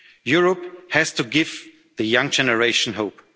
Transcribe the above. are needed. Europe has to give the